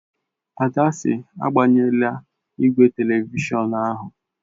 Ada sị, agbanyela igwe telivishọn ahụ!